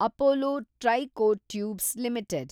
Apollo tricoat tubes limited